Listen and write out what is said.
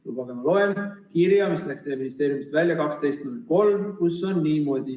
Lubage, ma loen kirja, mis läks teie ministeeriumist välja 12.03, kus on niimoodi.